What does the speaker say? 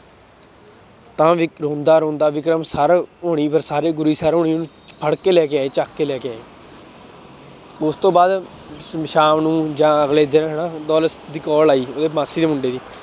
ਤਾਂ ਵੀ ਰੋਂਦਾ ਰੋਂਦਾ ਵਿਕਰਮ ਸਰ ਹੋਣੀ ਫਿਰ ਸਾਰੇ ਗੁਰੀ ਸਰ ਹੋਣੀ ਫੜ ਕੇ ਲੈ ਕੇ ਆਏ ਚੱਕ ਕੇ ਲੈ ਕੇ ਆਏ ਉਸ ਤੋਂ ਬਾਅਦ ਸ਼ਾਮ ਨੂੰ ਜਾਂ ਅਗਲੇ ਦਿਨ ਹਨਾ ਦੌਲਤ ਦੀ call ਆਈ ਉਹਦੇ ਮਾਸੀ ਦੇ ਮੁੰਡੇ ਦੀ